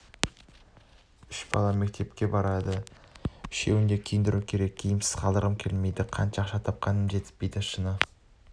үш балам мектепке барады үшеуін де киіндіру керек киімсіз қалдырғым келмейді қанша ақша тапқанмен жетіспейді шыны